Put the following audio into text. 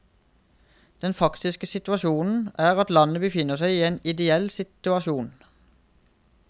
Den faktiske situasjonen er at landet befinner seg i en ideell situasjon.